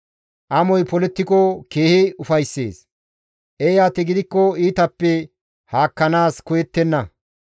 Amoy polettiko keehi ufayssees; eeyati gidikko iitappe haakkanaas koyettenna.